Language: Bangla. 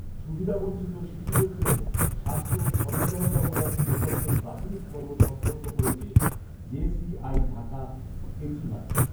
সুবিধাবঞ্চিত শিশুদের জন্য স্বাস্থ্য সচেতনতামূলক প্রকল্পের প্রাথমিক পর্ব সম্পন্ন করেছে জেসিআই ঢাকা এচিভারস